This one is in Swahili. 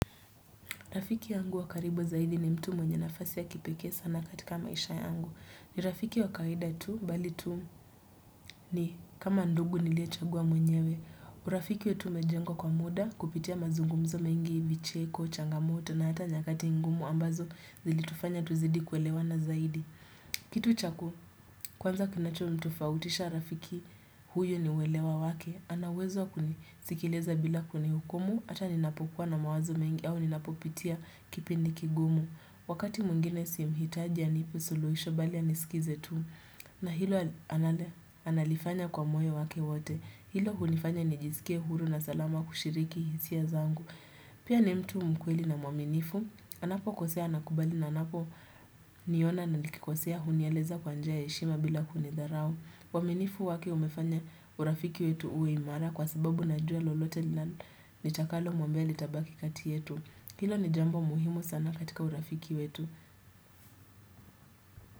Rafiki yangu wakaribo zaidi ni mtu mwenye nafasi ya kipekee sana katika maisha yangu. Ni rafiki wakawaida tu mbali tu ni kama ndugu nilie chagua mwenyewe. Urafiki yetu imejengwa kwa muda kupitia mazungumzo mengi vicheko, changamoto na hata nyakati ngumu ambazo zilitufanya tuzidi kuelewana zaidi. Kitu chaku, kwanza kinacho mtofautisha rafiki huyo niuelewa wake ana uwezo kunisikileza bila kunihukumu Ata ninapokuwa na mawazo mengi au ninapopitia kipindi kigumu Wakati mwingine si mhitaji anipe suluhisho bali anisikize tu na hilo analifanya kwa moyo wake wote Hilo hunifanya nijisikie huru na salama kushiriki hisia zangu Pia ni mtu mkweli na mwaminifu anapo kosea anakubali na anapo niona na likikosea hunieleza kwa njia heshima bila kunidharau. Waminifu wake umefanya urafiki wetu uwe imara kwa sababu najua lolote nitakalo mwambia litabaki kati yetu. Hilo ni jambo muhimu sana katika urafiki wetu.